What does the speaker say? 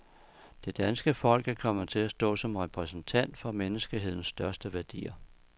Det danske folk er kommet til at stå som repræsentant for menneskehedens største værdier.